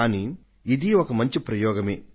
కానీ ఇదీ ఒక మంచి ప్రయోగమే